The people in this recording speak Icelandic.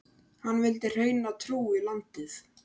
Hann vildi hreina trú í landið.